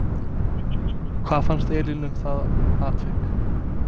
Hvað fannst Elínu um það atvik?